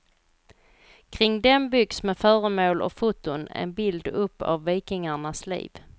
Kring den byggs med föremål och foton en bild upp av vikingarnas liv.